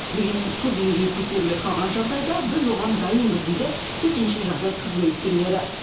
дегенмен су деңгейі көтеріле қалған жағдайда біз оған дайынбыз дейді төтенше жағдай қызметкерлері